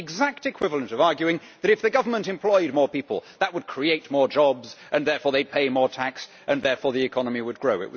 It is the exact equivalent of arguing that if the government employed more people, that would create more jobs and therefore they would pay more tax and therefore the economy would grow.